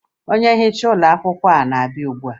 onye nhicha n'ụlọakwụkwọ na-abịa ugbua